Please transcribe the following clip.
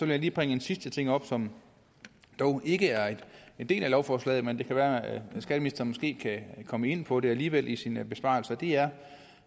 jeg lige bringe en sidste ting op som dog ikke er en del af lovforslaget men det kan være at skatteministeren måske kan komme ind på det alligevel i sin besvarelse det er